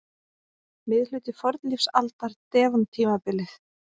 Miðhluti fornlífsaldar- devon-tímabilið.